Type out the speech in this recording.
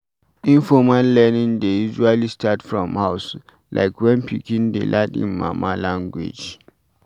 Informal learning dey usually start from house, like when pikin dey learn im mama language